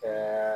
Ɛɛ